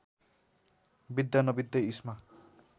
बित्दा नबित्दै इस्मा